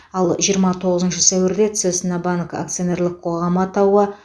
ал жиырма тоғызыншы сәуірде цеснабанк акционерлік қоғамы атауы